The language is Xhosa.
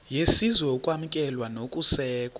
yesizwe ukwamkelwa nokusekwa